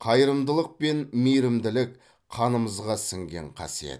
қайырымдылық пен мейірімділік қанымызға сіңген қасиет